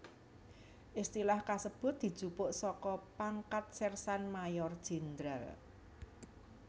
Istilah kasebut dijupuk saka pangkat Sersan Mayor Jènderal